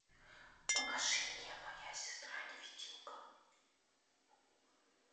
покажи мне моя сестра невидимка